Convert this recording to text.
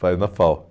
Faz na FAU.